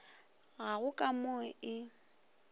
ga go ka mo e